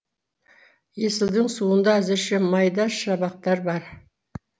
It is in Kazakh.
есілдің суында әзірше майда шабақтар бар